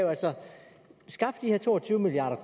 skaffe de her to og tyve milliard